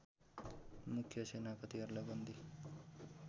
मुख्य सेनापतिहरूलाई बन्दी